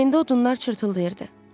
Kamindən odunlar çırtdılayırdı.